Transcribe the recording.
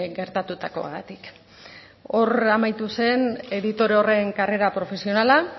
gertatutakoagatik hor amaitu zen editore horren karrera profesionala